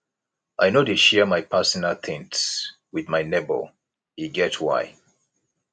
i no dey share my personal tins wit my nebor e get why